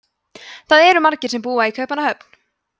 það eru margir sem búa í kaupmannahöfn